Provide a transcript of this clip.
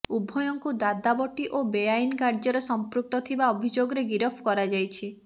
ଉଭୟଙ୍କୁ ଦାଦାବଟି ଓ ବେଆଇନ କାର୍ଯ୍ୟରେ ସଂପୃକ୍ତ ଥିବା ଅଭିଯୋଗରେ ଗିରଫ କରାଯାଇଛି